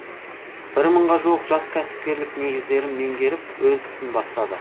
бір мыңға жуық жас кәсіпкерлік негіздерін меңгеріп өз ісін бастады